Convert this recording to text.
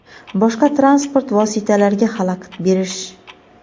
boshqa transport vositalariga xalaqit berish;.